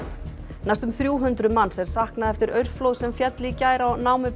næstum þrjú hundruð manns er saknað eftir aurflóð sem féll í gær á